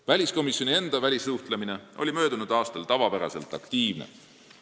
Väliskomisjoni enda välissuhtlus oli möödunud aastal tavapäraselt aktiivne.